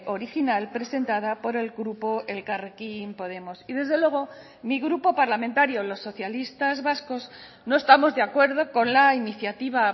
original presentada por el grupo elkarrekin podemos y desde luego mi grupo parlamentario los socialistas vascos no estamos de acuerdo con la iniciativa